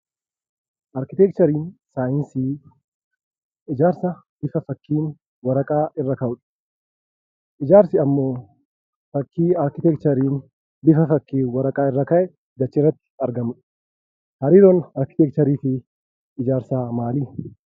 Arkiteekchariin saayinsii ijaarsaa bifa fakkiin waraqaa irra kaa'uudha. Ijaarsi ammoo fakkii arkiteekchariin bifa fakkiin waraqaa irra kaa'e achirratti argamudha. Hariiroon arkiteekcharii fi ijaarsaa maali?